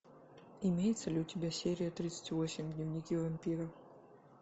имеется ли у тебя серия тридцать восемь дневники вампира